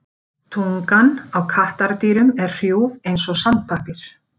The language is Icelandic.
Tungan á kattardýrum er hrjúf eins og sandpappír.